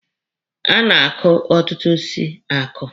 A na-akụ ọtụtụ osisi akụ.